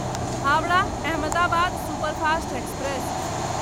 Howrah Ahmedabad superfast express